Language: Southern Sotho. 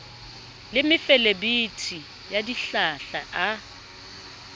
le mefelebithi ya dihlahla a